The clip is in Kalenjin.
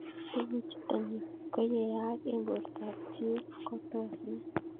Tug'uk chutok ko ye yaak eng' porta ab choii ko tos mee